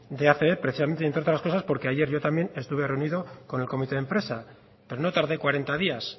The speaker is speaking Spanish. de acb precisamente entre otras cosas porque ayer yo también estuve reunido con el comité de empresa pero no tardé cuarenta días